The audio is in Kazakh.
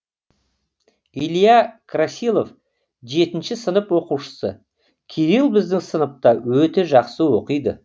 илья красилов жетінші сынып оқушысы кирилл біздің сыныпта өте жақсы оқиды